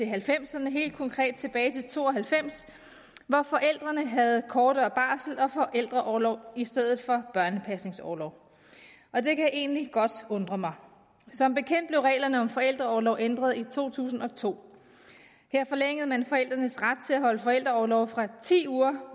halvfemserne helt konkret tilbage til nitten to og halvfems hvor forældrene havde kortere barsels og forældreorlov i stedet for børnepasningsorlov og det kan egentlig godt undre mig som bekendt blev reglerne om forældreorlov ændret i to tusind og to her forlængede man forældrenes ret til at holde forældreorlov fra ti uger